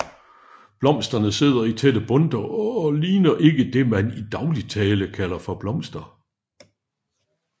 Blomsterne sidder i tætte bundter og ligner ikke det man i daglig tale kalder for blomster